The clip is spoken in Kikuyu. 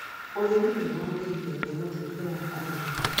Ũrĩmi nĩ waagirithamia mutuurire wa arĩmi.